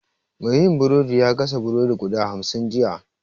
Mai yin burodin ya gasa burodi guda hamsin jiya